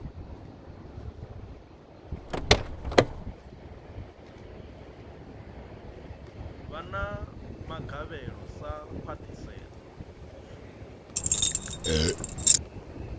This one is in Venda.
vha na magavhelo sa khwahisedzo